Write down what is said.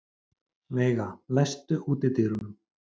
Veiga, læstu útidyrunum.